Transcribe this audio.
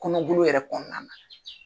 Kɔnɔbolo yɛrɛ kɔɔna na;